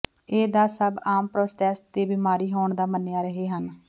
ਇਹ ਦਾ ਸਭ ਆਮ ਪ੍ਰੋਸਟੇਟ ਦੇ ਬਿਮਾਰੀ ਹੋਣ ਦਾ ਮੰਨਿਆ ਰਹੇ ਹਨ